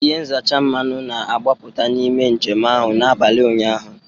Ihe nzacha mmanụ na-agbapụta n'ime njem ahụ n'abalị ụnyaahụ